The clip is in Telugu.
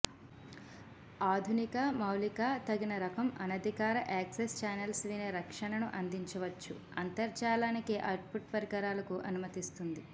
ఆధునిక మౌలిక తగిన రకం అనధికార యాక్సెస్ చానెల్స్ వినే రక్షణను అందించవచ్చు అంతర్జాలానికి అవుట్పుట్ పరికరాలకు అనుమతిస్తుంది